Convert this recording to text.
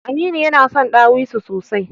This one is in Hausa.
Aminu yana son ɗawisu sosai.